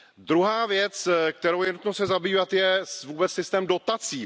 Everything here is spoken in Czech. Druhá věc, kterou je nutnou se zabývat, je vůbec systém dotací.